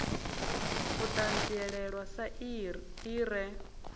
u ṱanzilelwa sa i re